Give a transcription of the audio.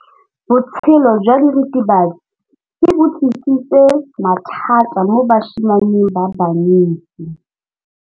Botshelo jwa diritibatsi ke bo tlisitse mathata mo basimaneng ba bantsi.